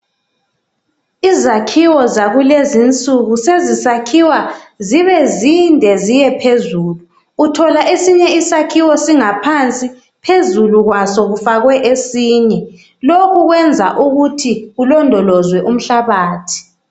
Izakhiwo zakulezinsuku sezisakhiwa zibe zinde ziye phezulu uthola esinye isakhiwo singaphansi phezulu kwaso kufakwe esinye lokhu kwenza ukuthi kulondolozwe umhlabathi.